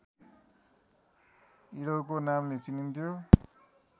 इडोको नामले चिनिन्थ्यो